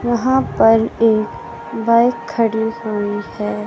यहां पर एक बाइक खड़ी हुई है।